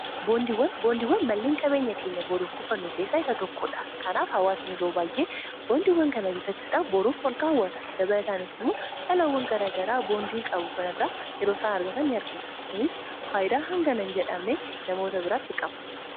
boondiiwwan malleen qabeenya keenya booruuf kufannu keessaa isa tokkoodha kanaaf hawaasani yeroo baayyee boondiiwwan kana bitachuudha boruuf ol kaawwata dabalataanis immoo dhalawwan garagaraa boondiin qabu kanirra yeroosaan argata ni argina kunis faayidaa hanga hinn jedhamne namoota biraatti qaba